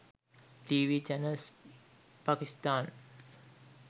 tv channels pakistan